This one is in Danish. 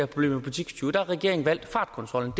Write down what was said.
problem med butikstyve der har regeringen valgt fartkontrollen